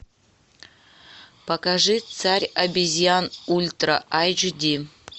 покажи царь обезьян ультра айч ди